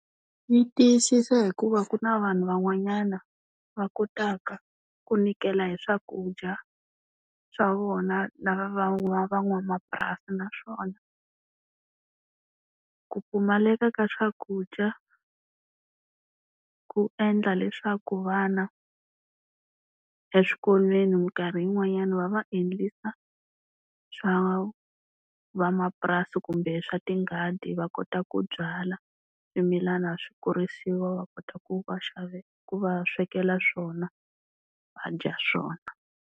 Yi tiyisisa hikuva ku na vanhu van'wanyana va kotaka ku nyikela hi swakudya swa vona lava van'wamapurasi. Naswona ku pfumaleka ka swakudya ku endla leswaku vana, eswikolweni minkarhi yin'wanyana va va endlisa swa vamapurasi kumbe swa tinghadi va kota ku byala swimilana swi kurisiwa va kota ku va ku va swekela swona va dya swona.